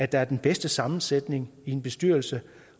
der er den bedste sammensætning i en bestyrelse